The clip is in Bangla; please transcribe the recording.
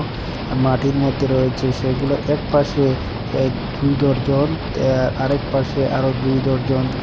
মাটির মদ্যে রয়েচে সেগুলো একপাশে এ ধুই দরজন তে আরেক পাশে আরো দুই দরজন ।